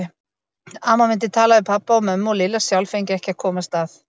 Amma myndi tala við pabba og mömmu og Lilla sjálf fengi ekki að komast að.